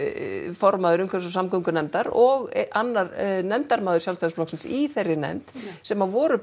formaður umhverfis og samgöngunefndar og annar nefndarformaður Sjálfstæðisflokksins í þeirri nefnd sem voru